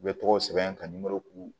U bɛ tɔgɔ sɛbɛn ka nimoro k'u